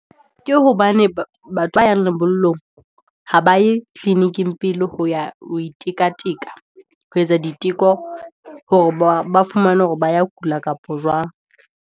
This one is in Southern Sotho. Ke hobane batho ba yang lebollong, ha ba e clinic-ing pele, ho ya ho itika tika, ho etsa diteko, hore ba fumane hore ba ya kula kapa jwang.